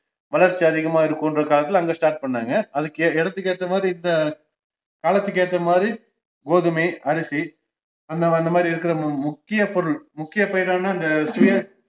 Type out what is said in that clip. வளர்ச்சி அதிகமா இருகுன்றதுகாக அங்க start பண்ணாங்க அதுக்கு எ~எடத்துக்கு ஏத்தமாதிரி இந்த காலத்துக்கு ஏத்தமாதிரி கோதுமை, அரிசி, அந்த அந்தமாதிரி இருக்குற மு~ முக்கிய பொருள் முக்கியபயிரான நெ~ சுய~